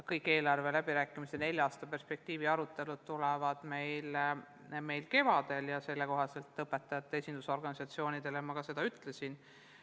Kõik eelarve läbirääkimiste nelja aasta perspektiivi arutelud tulevad kevadel ja seda ma õpetajate esindusorganisatsioonidele ka ütlesin.